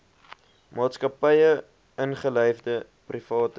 maatskappye ingelyfde private